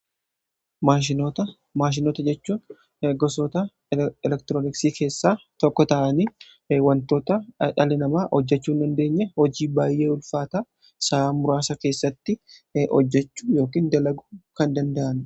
Maashinoota jechuu gosoota elektirooniksii keessaa tokko ta'anii wantoota dhallii namaa hojjachuu dandeenye hojii baay'ee ulfaata sa'a muraasa keessatti hojjachuu yookiin dalaguu kan danda'anidha.